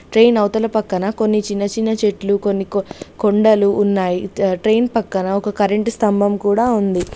Train అవతల పక్కనా కొన్ని చిన్న-చిన్న చెట్లు కొన్ని కో కొండలు ఉన్నాయి ట్రే ట్రైన్ పక్కనా ఒక కరెంట్ స్తంభం కూడా ఉంది.